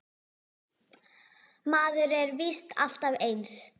Maður er víst alltaf eins!